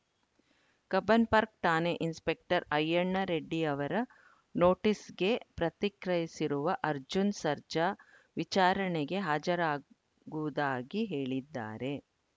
Cubbon Park ಠಾಣೆ inspector Ayyanna Reddy ಅವರ ನೋಟಿಸ್‌ಗೆ ಪ್ರತಿಕ್ರಿಯಿಸಿರುವ ಅರ್ಜುನ್‌ ಸರ್ಜಾ ವಿಚಾರಣೆಗೆ ಹಾಜರಾಗುವುದಾಗಿ ಹೇಳಿದ್ದಾರೆ